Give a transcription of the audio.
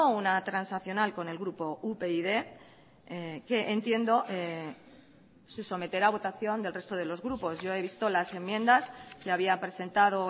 una transaccional con el grupo upyd que entiendo se someterá a votación del resto de los grupos yo he visto las enmiendas que había presentado